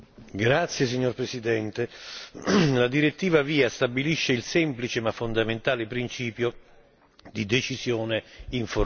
Signor Presidente, onorevoli colleghi, la direttiva VIA stabilisce il semplice, ma fondamentale, principio di decisione informata.